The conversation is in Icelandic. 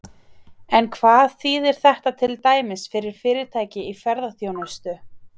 En hvað þýðir þetta til dæmis fyrir fyrirtæki í ferðaþjónustu?